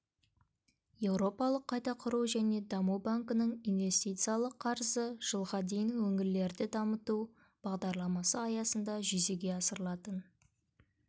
еуропалық қайта құру және даму банкінің инвестициялық қарызы жылға дейін өңірлерді дамыту бағдарламасы аясында жүзеге асырылатын